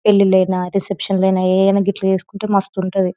పెళ్ళిళ్ళైనా reception లైనా ఏవన్నా గిట్లా చేసుకుంటే మస్తుంటది.